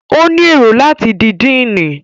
O ni èrò láti di Diini